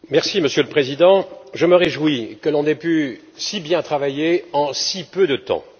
Monsieur le Président, je me réjouis que l'on ait pu si bien travailler en si peu de temps.